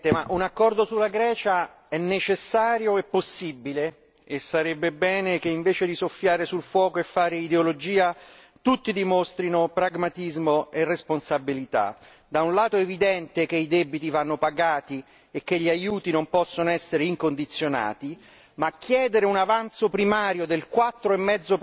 Signor Presidente, onorevoli colleghi, un accordo sulla Grecia è necessario e possibile e sarebbe bene che, invece di soffiare sul fuoco e fare ideologia, tutti dimostrassero pragmatismo e responsabilità. Da un lato è evidente che i debiti vanno pagati e che gli aiuti non possono essere incondizionati, ma chiedere un avanzo primario del 4,5